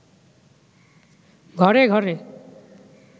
ঘরে ঘরে